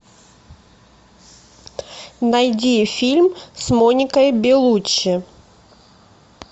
найди фильм с моникой белуччи